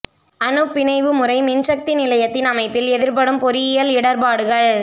அணுப்பிணைவு முறை மின்சக்தி நிலையத்தின் அமைப்பில் எதிர்ப்படும் பொறியியல் இடர்ப்பாடுகள்